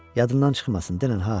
Yadından çıxmasın, denən ha.